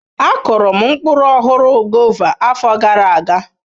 Akuru m mkpụrụ ọhụrụ, guava, afọ gara aga.